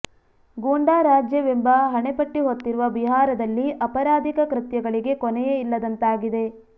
ಗೂಂಡಾ ರಾಜ್ಯ ಎಂಬ ಹಣೆಪಟ್ಟಿ ಹೊತ್ತಿರುವ ಬಿಹಾರದಲ್ಲಿ ಅಪರಾಧಿಕ ಕೃತ್ಯಗಳಿಗೆ ಕೊನೆಯೇ ಇಲ್ಲದಂತಾಗಿದೆ